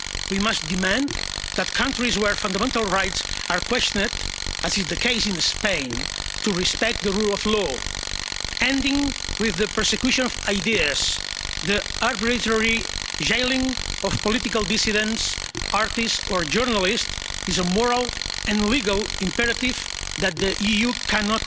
We must demand that countries where fundamental rights are questioned, as in the case of Spain, respect the rule of law. Ending the persecution of ideas, the arbitrary jailing of political dissidents, artists or journalists, is a moral and legal imperative that the EU can